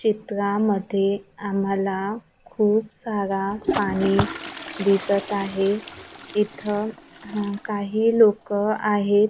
चित्रामध्ये आम्हाला खूप सारा पाणी दिसत आहे इथं हा काही लोकं आहेत.